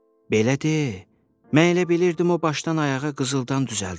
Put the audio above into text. Belə de, mən elə bilirdim o başdan ayağa qızıldan düzəldilib.